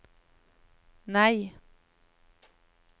nei